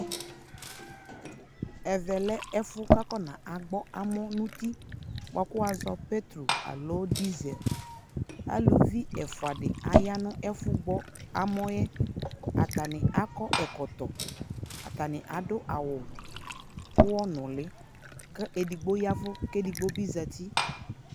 ɛmɛ lɛ ɛƒʋ kʋ akɔ na gbɔ amɔ nʋ ʋti bʋakʋ wazɔnʋ pɛtrɔ alɔ diesel, alʋvi ɛfʋa di ayanʋ ɛfʋ gbɔ amɔɛ, atani akɔ ɛkɔtɔ, atani adʋ awʋ ʋwɔ nʋli kɛ ɛdigbɔ yavʋ kʋ ɛdigbɔ zati